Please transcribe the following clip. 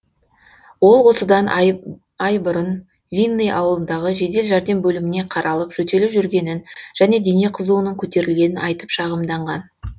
ол осыдан ай бұрын винный ауылындағы жедел жәрдем бөліміне қаралып жөтеліп жүргенін және дене қызуының көтерілгенін айтып шағымданған